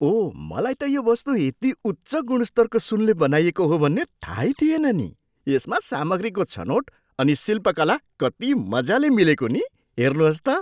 ओह, मलाई त यो वस्तु यति उच्च गुणस्तरको सुनले बनाइएको हो भन्ने थाहै थिएन नि। यसमा सामग्रीको छनोट अनि शिल्पकला कति मजाले मिलेको नि? हेर्नुहोस् त!